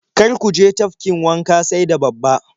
Kar ku je tafkin wanka sai da babba.